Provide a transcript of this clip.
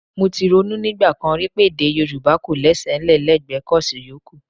Mo ti ronú nígbà kan rí pé Èdè Yorùbá kọ̀ lésẹ̀ ńlẹ̀ lẹ́gbẹ kọ́ọ̀sì yòókù